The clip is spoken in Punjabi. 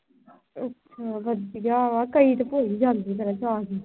ਅੱਛਾ ਵਧੀਆ ਕਈ ਤਾਂ ਭੁੱਲ ਈ ਜਾਂਦੇ ਆ